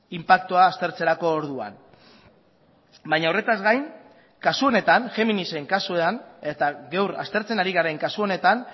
inpaktua aztertzerako orduan baina horretaz gain kasu honetan géminisen kasuan eta gaur aztertzen ari garen kasu honetan